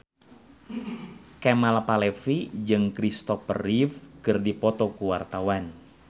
Kemal Palevi jeung Christopher Reeve keur dipoto ku wartawan